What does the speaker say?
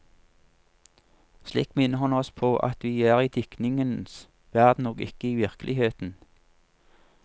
Slik minner han oss på at vi er i diktningens verden og ikke i virkeligheten.